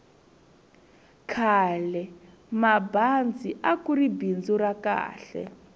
khalemabazi akuri bindzu ra kahl